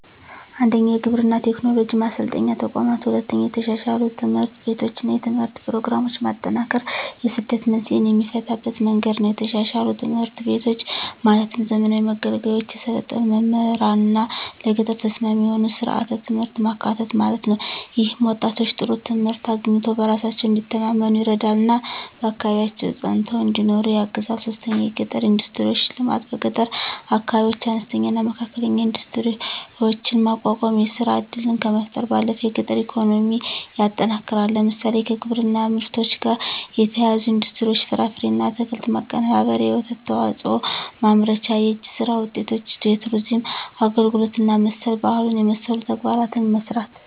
1. የግብርና ቴክኖሎጂ ማሰልጠኛ ተቋማት 2. የተሻሻሉ ትምህርት ቤቶችና የትምህርት ፕሮግራሞች ማጠናከር የስደት መንስኤን የሚፈታበት መንገድ ነው የተሻሻሉ ትምህርት ቤቶች ማለትም ዘመናዊ መገልገያዎች፣ የሰለጠኑ መምህራንና ለገጠር ተስማሚ የሆኑ ሥርዓተ ትምህርቶች ማካተት ማለት ነው። ይህም ወጣቶች ጥሩ ትምህርት አግኝተው በራሳቸው እንዲተማመኑ ይረዳልና በአካባቢያቸው ፀንተው እንዲኖሩ ያግዛል 3. የገጠር ኢንዱስትሪዎች ልማት በገጠር አካባቢዎች አነስተኛና መካከለኛ ኢንዱስትሪዎችን ማቋቋም የሥራ ዕድልን ከመፍጠር ባለፈ የገጠር ኢኮኖሚን ያጠናክራል። ለምሳሌ፣ ከግብርና ምርቶች ጋር የተያያዙ ኢንዱስትሪዎች (ፍራፍሬና አትክልት ማቀነባበሪያ፣ የወተት ተዋጽኦ ማምረቻ)፣ የእጅ ሥራ ውጤቶች፣ የቱሪዝም አገልግሎት እና መሠል ባህሉን የመሠሉ ተግባራትን መሥራት